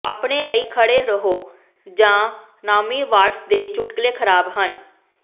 ਆਪਣੇ ਲਈ ਖੜ੍ਹੇ ਰਹੋ ਜਾਂ ਨਾਓਮੀ ਵਾਟਸ ਦੇ ਚੁਟਕਲੇ ਖਰਾਬ ਹਨ